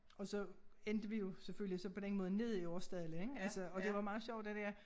Og så endte vi jo selvfølgelig så på den måde nede i Aarsdale ik altså og det var meget sjovt det dér